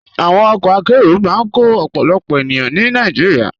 Àwọn ọkọ àkéró máa n kọ ọ̀pọ̀lọpọ̀ ènìyàn ní Nàìjíríà.